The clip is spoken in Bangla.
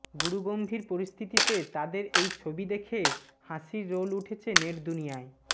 গুরুগম্ভীর পরিস্থিতিতে তাদের এই ছবি দেখে হাসির রোল উঠেছে নেটদুনিয়ায়